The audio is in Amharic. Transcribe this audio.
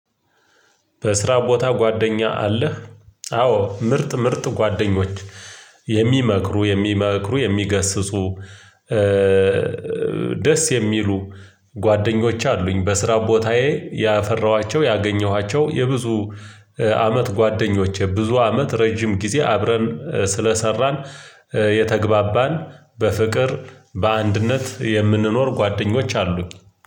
በስራ ቦታ ጓደኛ አለህ? አዎ ምርጥ ምርጥ ጓደኞች የሚመክሩ የሚመክሩ የሚገስጹ ደስ የሚሉ ጓደኞቼ አሉኝ በስራ ቦታዬ ያፈራኋቸው ያገኘኋቸው የብዙ አመት ጓደኞቼ ብዙ አመት ረጅም ጊዜ አብረን ስለሰራን የተግባባን በፍቅር በአንድነት የምንኖር ጓደኞች አሉኝ